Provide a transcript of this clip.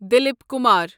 Dilip Kumar